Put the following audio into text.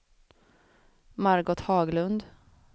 Margot Haglund